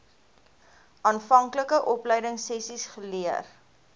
aanvanklike opleidingsessies geleer